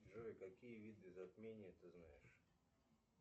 джой какие виды затмения ты знаешь